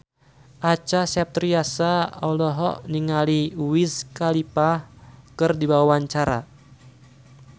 Acha Septriasa olohok ningali Wiz Khalifa keur diwawancara